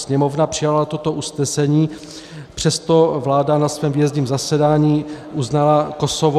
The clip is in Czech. Sněmovna přijala toto usnesení, přesto vláda na svém výjezdním zasedání uznala Kosovo.